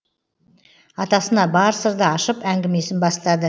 атасына бар сырды ашып әңгімесін бастады